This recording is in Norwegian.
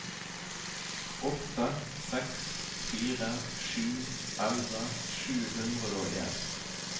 åtte seks fire sju elleve sju hundre og en